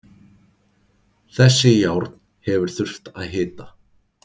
Þessi járn hefur þurft að hita.